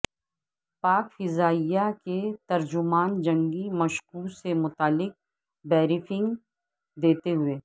پاک فضائیہ کے ترجمان جنگی مشقوں سے متعلق بریفنگ دیتے ہوئے